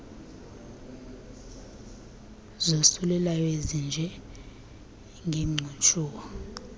zosulelayo ezinje ngegcushuwa